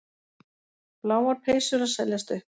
Bláar peysur að seljast upp